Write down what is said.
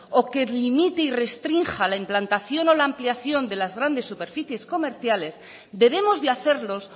o que limite y restrinja la implantación o la ampliación de las grandes superficies comerciales debemos de hacerlos